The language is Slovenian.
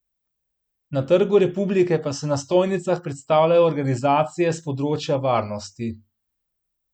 Na Trgu republike pa se na stojnicah predstavljajo organizacije s področja varnosti.